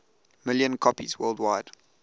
million copies worldwide